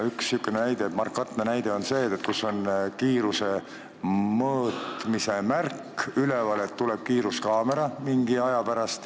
Üks markantne näide on see, et on üleval kiiruse mõõtmise märk, et mingi aja pärast tuleb kiiruskaamera.